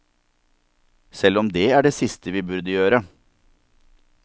Selv om det er det siste vi burde gjøre.